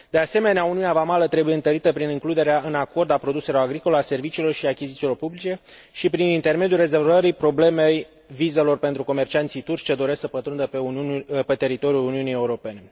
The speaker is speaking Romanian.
De asemenea, uniunea vamală trebuie întărită prin includerea în acord a produselor agricole, a serviciilor și a achizițiilor publice și prin intermediul rezolvării problemei vizelor pentru comercianții turci ce doresc să pătrundă pe teritoriul Uniunii Europene.